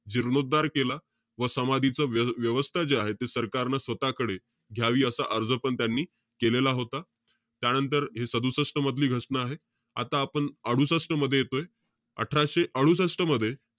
जीर्णोद्धार केला. व समाधीचं व~ व्यवस्था जे आहे ते सरकारनं स्वतःकडे घ्यावी असा अर्जपण त्यांनी केलेला होता. त्यानंतर, हे सदुसष्ट मधली घटना आहे. आता आपण अडुसष्ट मध्ये येतोय. अठराशे अडुसष्ट मध्ये,